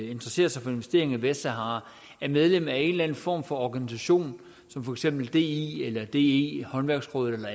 at interessere sig for investeringer i vestsahara er medlem af en eller anden form for organisation som for eksempel di eller de håndværksrådet eller